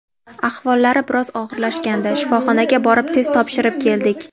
Ahvollari biroz og‘irlashgandi, shifoxonaga borib test topshirib keldik.